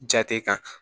Jate kan